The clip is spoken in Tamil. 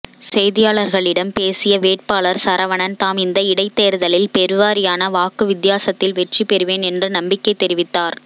செய்தியாளர்களிடம் பேசிய வேட்பாளர் சரவணன் தாம் இந்த இடைத்தேர்தலில் பெருவாரியான வாக்கு வித்தியாசத்தில் வெற்றி பெறுவேன் என்று நம்பிக்கை தெரிவித்தார்